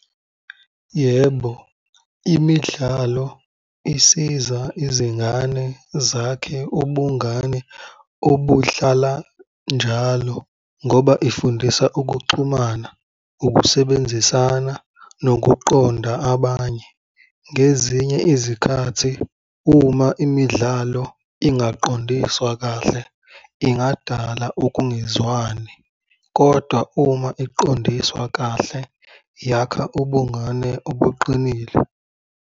Yebo, imidlalo isiza izingane zakhe ubungane obuhlala njalo ngoba ifundisa ukuxhumana, ukusebenzisana nokuqonda abanye. Ngezinye izikhathi uma imidlalo ingaqondiswa kahle, ingadala ukungezwani, kodwa uma iqondiswe kahle, yakha ubungane obuqinile.